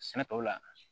Sɛnɛtaw la